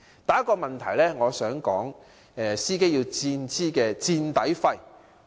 第一大問題是，司機要支付"墊底費"。